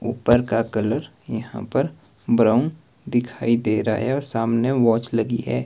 ऊपर का कलर यहां पर ब्राउन दिखाई दे रहा है और सामने वाच लगी है।